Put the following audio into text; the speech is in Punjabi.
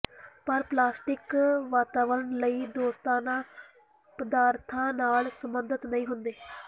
ਪਰ ਪਲਾਸਟਿਕ ਵਾਤਾਵਰਨ ਲਈ ਦੋਸਤਾਨਾ ਪਦਾਰਥਾਂ ਨਾਲ ਸਬੰਧਤ ਨਹੀਂ ਹੁੰਦੇ